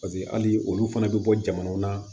Paseke hali olu fana bɛ bɔ jamanaw na